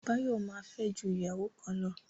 Báyọ̀ ma fẹ́ ju ìyàwó kan lọ